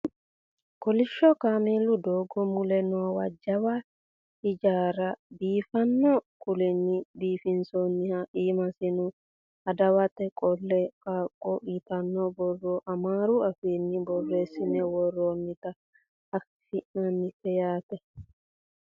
kolishsho kameelu ddogo mule noowa jawa hijaara biifanno kuulinni biifinsoonniha iimasino adiwate qeelle qaaggo yitanno borro amaaru afiinni borreessine worroo nita anfannite yaate